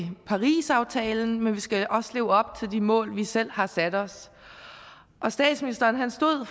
parisaftalen men vi skal også leve op til de mål vi selv har sat os og statsministeren stod